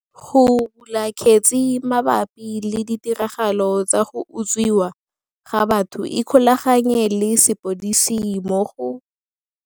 Go bula kgetse mabapi le ditiragalo tsa go utswiwa ga batho ikgolaganye le sepodisi mo go.